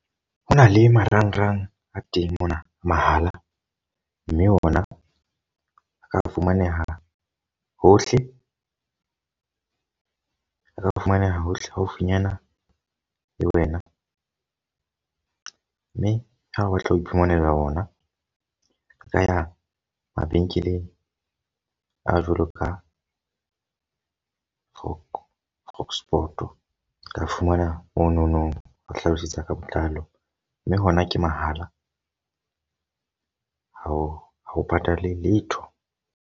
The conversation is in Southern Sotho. Ho na le marangrang a teng mona mahala. Mme ona a ka fumaneha hohle a ka fumaneha hohle haufinyana le wena. Mme ha o batla ho iphumanela ona, o ka ya mabenkeleng a jwalo ka . O ka fumana monono, o hlalosetsa ka botlalo. Mme ona ke mahala ha o ha o patale letho.